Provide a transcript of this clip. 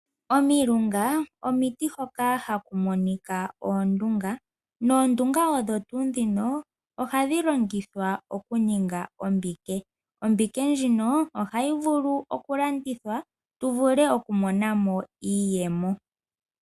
Omilunga omiti hoka haku monika oondunga, noondunga odho tuu dhino, ohadhi longithwa oku ninga oombike. Ombike ndjika ohayi vulu oku landithwa tu vule oku monamo iiyemo.